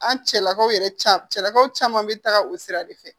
An cɛlakaw yɛrɛ caalakaw caman be taga o sira de fɛ